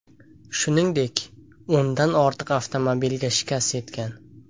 Shuningdek, o‘ndan ortiq avtomobilga shikast yetgan.